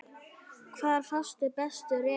Hvar fást bestu reipin?